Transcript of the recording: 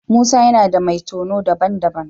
Musa yana da mai tono daban-daban.